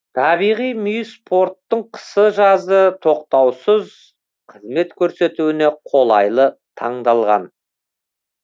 табиғи мүйіс порттың қысы жазы тоқтаусыз қызмет көрсетуіне қолайлы таңдалған